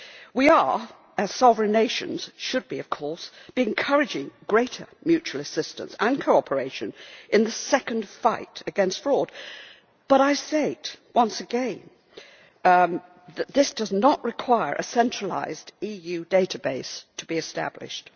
We are, as sovereign nations should of course be, encouraging greater mutual assistance and cooperation in the second fight against fraud but I say it once again this does not require a centralised EU database to be established.